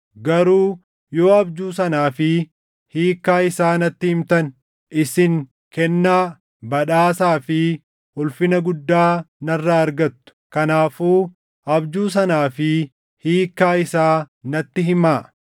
Garuu yoo abjuu sanaa fi hiikkaa isaa natti himtan isin kennaa, badhaasaa fi ulfina guddaa narraa argattu. Kanaafuu abjuu sanaa fi hiikkaa isaa natti himaa.”